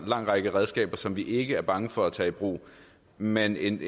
lang række redskaber som vi ikke er bange for at tage i brug men en